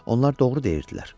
Onlar doğru deyirdilər.